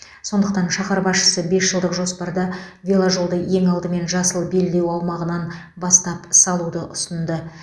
сондықтан шаһар басшысы бес жылдық жоспарда веложолды ең алдымен жасыл белдеу аумағынан бастап салуды ұсынды